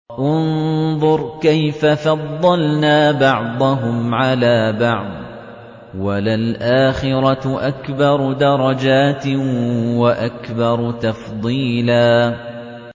انظُرْ كَيْفَ فَضَّلْنَا بَعْضَهُمْ عَلَىٰ بَعْضٍ ۚ وَلَلْآخِرَةُ أَكْبَرُ دَرَجَاتٍ وَأَكْبَرُ تَفْضِيلًا